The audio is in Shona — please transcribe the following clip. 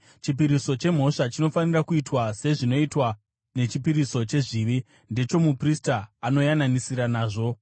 “ ‘Chipiriso chemhosva chinofanira kuitwa sezvinoitwa nechipiriso chezvivi: ndechomuprista anoyananisira nazvo.